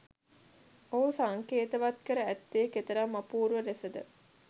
ඔහු සංකේතවත් කර ඇත්තේ කෙතරම් අපූර්ව ලෙසද?